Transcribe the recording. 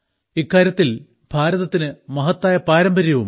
ഇക്കാര്യത്തിൽ നമുക്ക് മഹത്തായ പാരമ്പര്യവുമുണ്ട്